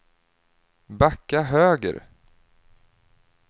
backa höger